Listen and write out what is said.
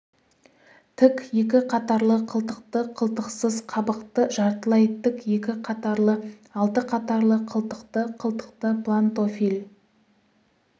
тік екі қатарлы қылтықты қылтықсыз қабықты жартылай тік екі қатарлы алты қатарлы қылтықты қылтықты плантофиль